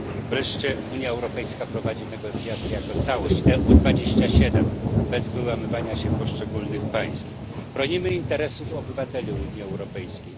Wreszcie Unia Europejska prowadzi negocjacje jako całość UE 27 bez wyłamywania się poszczególnych państw. Bronimy interesów obywateli Unii Europejskiej.